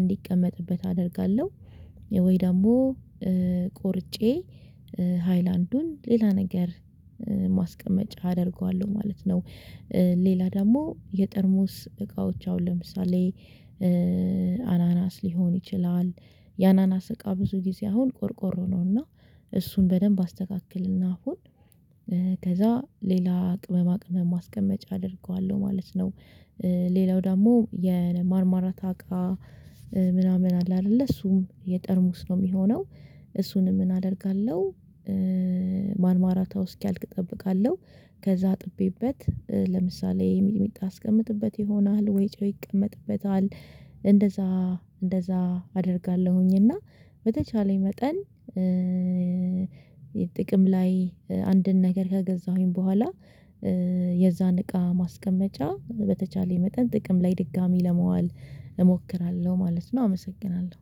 እንዲቀመጥበት አደርጋለሁ ወይ ደግሞ ቆርጬ ሃይላንዱን ሌላ ነገር ማስቀመጫ አደርገዋለሁ ማለት ነው። ሌላ ደግሞ የጠርሞስ እቃዎች አሁን ለምሳሌ አናናስ ሊሆን ይችላል የአናናስ እቃ ብዙ ጊዜ አሁን ቆርቆሮ ነውና እሱን በደንብ አስተካክልና አሁን ከዛ ሌላ ቅመማ ቅመማ ማስቀመጫ አደርገዋለሁ ማለት ነው። ሌላው ደግሞ የማርማራታ እቃ ምናምን አለ አይደለ እሱም የጠርሙስ ነው የሚሆነው እሱንም ምን አደርጋለሁ? ማርማራታው እስኪያልቅ እጠብቃለሁ ከዛ አጥቤበት ለምሳሌ ሚጥሚጣ አስቀምጥበት ይሆናል ወይ ጨው ይቀመጥበታል እንደዛ እንደዛ አደርጋለሁኝ። እና በተቻለኝ መጠን ጥቅም ላይ አንድን ነገር ከገዛሁኝ በኋላ የዛን እቃ ማስቀመጫ በተቻለ የመጠን ጥቅም ላይ ድጋሚ ለመዋል እሞክራለሁ ማለት ነው። አመሰግናለሁ